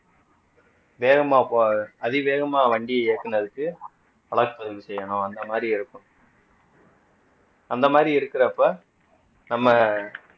வேகமா போ அதிவேகமா வண்டி இயக்குனதுக்கு வழக்கு பதிவு செய்யணும் அந்த மாரி இருக்கும் அந்த மாதிரி இருக்கிறப்ப நம்ம